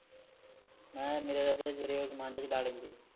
ਮੈ ਮੇਰਾ ਓ ਸਮਾਨ ਜਾ ਛੁਡਾ ਲੈਂਦੇ